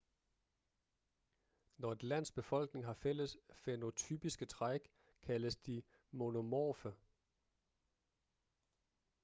når et lands befolkning har fælles fænotypiske træk kaldes de monomorfe